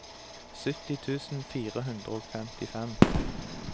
sytti tusen fire hundre og femtifem